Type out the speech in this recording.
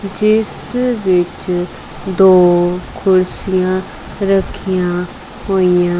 ਇਸ ਵਿੱਚ ਦੋ ਕੁਰਸੀਆਂ ਰੱਖੀਆਂ ਹੋਈਆਂ--